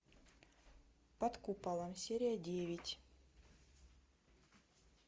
под куполом серия девять